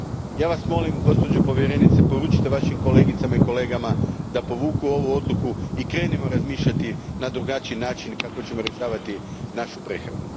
Ja Vas molim, gospođo povjerenice, da poručite Vašim kolegicama i kolegama da povuku ovu odluku i da krenemo razmišljati na drugačiji način kako da rješavamo našu prehranu.